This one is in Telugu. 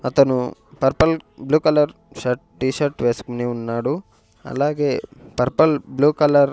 అతను purple blue colour shirt T shirt వేసుకుని ఉన్నాడు అలాగే పర్పల్ బ్లూ కలర్ .